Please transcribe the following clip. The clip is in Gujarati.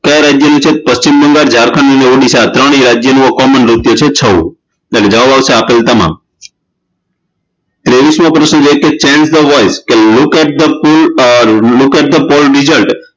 કયા રાજ્યનું છે પશ્ચિમ બંગાળ જારખંડ અને ઓડડીસા આ ત્રણેય રાજ્યનો Common નૃત્ય છે છઉ એટલે જવાબ આવશે આપેલ તમામ ત્રેવીસમો પ્રશ્ન છે કે change the voice Look at the poll results